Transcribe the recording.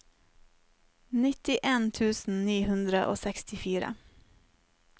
nittien tusen ni hundre og sekstifire